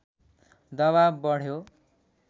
दवाब बढ्यो